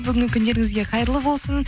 бүгінгі күндеріңізге қайырлы болсын